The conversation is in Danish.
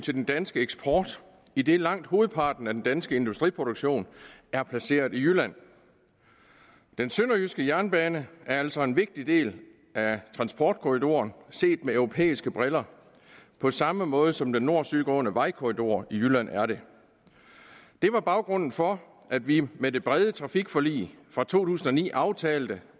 den danske eksport idet langt hovedparten af den danske industriproduktion er placeret i jylland den sønderjyske jernbane er altså en vigtig del af transportkorridoren set med europæiske briller på samme måde som den nord syd gående vejkorridor i jylland er det det var baggrunden for at vi med det brede trafikforlig fra to tusind og ni aftalte